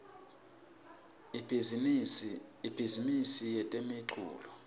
ibhizimisi yetemculo